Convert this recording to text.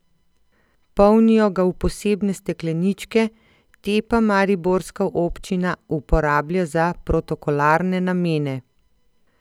Polnijo ga v posebne stekleničke, te pa mariborska občina uporablja za protokolarne namene.